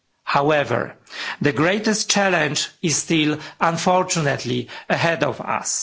However, the greatest challenge is still, unfortunately, ahead of us.